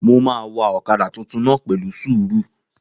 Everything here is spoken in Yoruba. Mo máa wa ọ̀kadà tuntun náà pẹ̀lú sùúrù